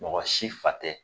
Mɔgɔ si fa tɛ